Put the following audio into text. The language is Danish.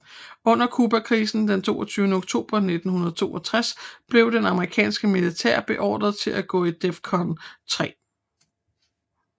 Under Cubakrisen den 22 oktober 1962 blev det amerikanske militær beordret til at gå til DEFCON 3